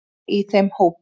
Er ég í þeim hópi.